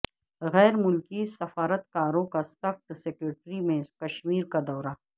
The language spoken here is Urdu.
غیر ملکی سفارتکاروں کا سخت سیکورٹی میں کشمیر کا دورہ